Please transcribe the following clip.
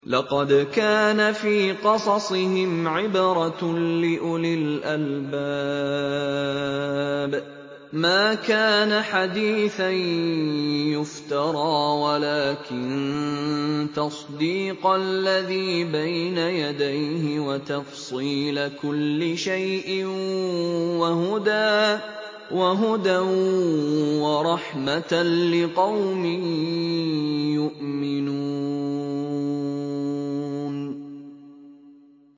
لَقَدْ كَانَ فِي قَصَصِهِمْ عِبْرَةٌ لِّأُولِي الْأَلْبَابِ ۗ مَا كَانَ حَدِيثًا يُفْتَرَىٰ وَلَٰكِن تَصْدِيقَ الَّذِي بَيْنَ يَدَيْهِ وَتَفْصِيلَ كُلِّ شَيْءٍ وَهُدًى وَرَحْمَةً لِّقَوْمٍ يُؤْمِنُونَ